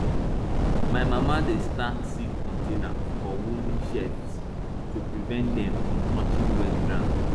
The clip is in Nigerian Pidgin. my mama dey stack seed containers for wooden shelves to prevent dem from touching wet ground